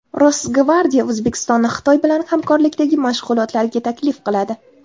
Rosgvardiya O‘zbekistonni Xitoy bilan hamkorlikdagi mashg‘ulotlariga taklif qiladi.